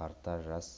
тарта жас